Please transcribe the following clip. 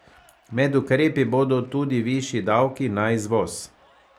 Med ukrepi bodo tudi višji davki na izvoz.